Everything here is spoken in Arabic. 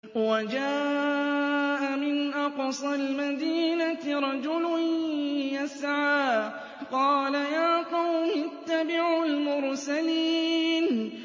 وَجَاءَ مِنْ أَقْصَى الْمَدِينَةِ رَجُلٌ يَسْعَىٰ قَالَ يَا قَوْمِ اتَّبِعُوا الْمُرْسَلِينَ